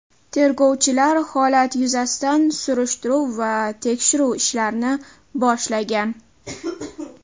Tergovchilar holat yuzasidan surishtiruv va tekshiruv ishlarini boshlagan.